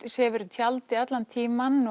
sefur í tjaldi allan tímann